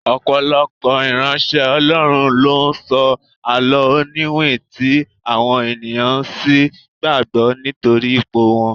Ọ̀pọ̀lọpọ̀ ìránṣẹ́ Ọlọ́run ló ń sọ àló oniwin tí àwọn ènìyàn sì ń gbàgbó nítorí ipò wọn.